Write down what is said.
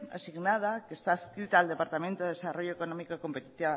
asignada que está adscrita al departamento de desarrollo económico y competitividad